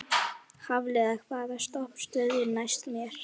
Hafliða, hvaða stoppistöð er næst mér?